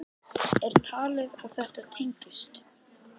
Er talið að þetta tengist?